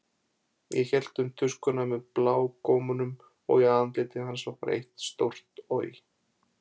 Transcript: Hann hélt um tuskuna með blágómunum og í andliti hans var eitt stórt OJ!